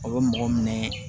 A bɛ mɔgɔ minɛ